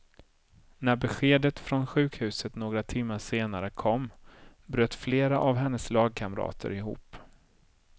När beskedet från sjukhuset några timmar senare kom, bröt flera av hennes lagkamrater ihop.